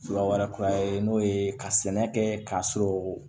Fila wɛrɛ kura ye n'o ye ka sɛnɛ kɛ k'a sɔrɔ